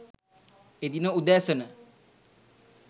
එදින උදෑසන .